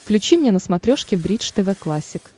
включи мне на смотрешке бридж тв классик